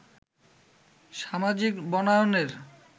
সামাজিক বনায়নের